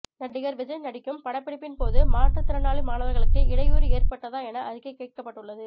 நடிகர் விஜய் நடிக்கும் படப்பிடிப்பின்போது மாற்றுத்திறனாளி மாணவர்களுக்கு இடையூறு ஏற்பட்டதா என அறிக்கை கேட்கப்பட்டுள்ளது